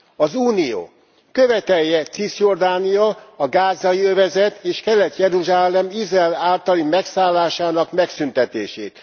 Az Unió követelje Ciszjordánia, a Gázai övezet és Kelet Jeruzsálem Izrael általi megszállásának megszüntetését.